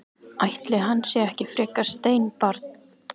Ætli hann sé ekki frekar steinbarn.